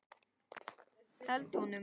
Held honum.